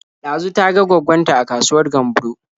Ɗazu ta ga gwaggon ta a kasuwar Gamburo.